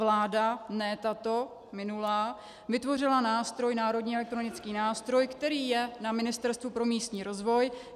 Vláda, ne tato, minulá, vytvořila nástroj, národní elektronický nástroj, který je na Ministerstvu pro místní rozvoj.